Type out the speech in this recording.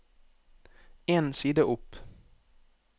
En side opp